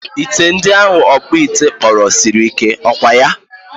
Ite ndi ahụ ọkpụite kpụrụ siri ike, ọkwaya?